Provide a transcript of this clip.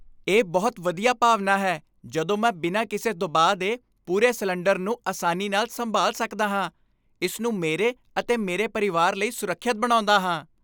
ਇਹ ਬਹੁਤ ਵਧੀਆ ਭਾਵਨਾ ਹੈ ਜਦੋਂ ਮੈਂ ਬਿਨਾਂ ਕਿਸੇ ਦਬਾਅ ਦੇ ਪੂਰੇ ਸਿਲੰਡਰ ਨੂੰ ਆਸਾਨੀ ਨਾਲ ਸੰਭਾਲ ਸਕਦਾ ਹਾਂ, ਇਸ ਨੂੰ ਮੇਰੇ ਅਤੇ ਮੇਰੇ ਪਰਿਵਾਰ ਲਈ ਸੁਰੱਖਿਅਤ ਬਣਾਉਂਦਾ ਹਾਂ।